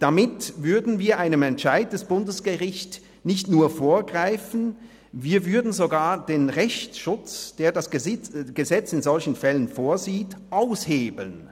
Damit würden wir einem Entscheid des Bundesgerichts nicht nur vorgreifen, wir würden sogar den Rechtsschutz, den das Gesetz in solchen Fällen vorsieht, aushebeln.